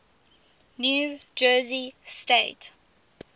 new jersey state